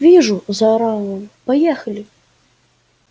вижу заорал он поехали